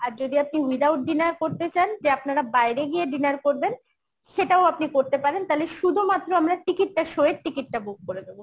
আর যদি আপনি without dinner করতে চান যে আপনারা বাইরে গিয়ে dinner করবেন সেটাও আপনি করতে পারেন তাহলে শুধুমাত্র আমরা ticket টা show এর ticket টা book করে দেবো